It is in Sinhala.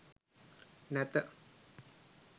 නැත